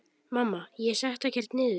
Mamma: Ég setti ekkert niður!